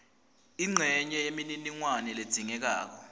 incenye yemininingwane ledzingekako